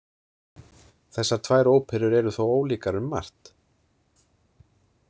Þessar tvær óperur eru þó ólíkar um margt.